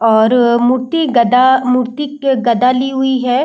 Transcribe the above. और मूर्ति गदा मूर्ति गदा ली हुई है।